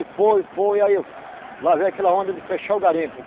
foi, foi... e aí Lá veio aquela onda de fechar o garimpo.